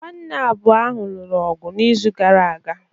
Nwanna abụọ ahụ lụrụ ọgụ n’izu gara aga